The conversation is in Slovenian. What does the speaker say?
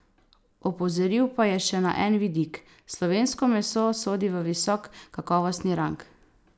Opozoril pa je še na en vidik: "Slovensko meso sodi v visok kakovostni rang.